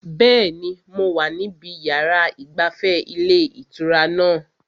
Bẹ́ẹ̀ni, mo wà níbi yàrá ìgbafẹ́ ilé ìtura náà